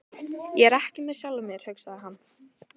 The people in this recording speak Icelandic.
Ég er ekki með sjálfum mér, hugsaði hann.